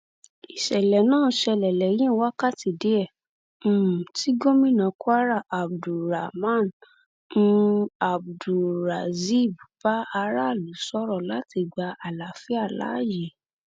ìṣẹlẹ náà ṣẹlẹ lẹyìn wákàtí díẹ um tí gomina kwara abdulrahman um abdulrazib bá aráàlú sọrọ láti gba àlàáfíà láàyè